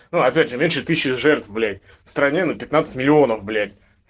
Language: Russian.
ну опять же меньше тысячи жертв блять в стране на пятнадцать миллионов блять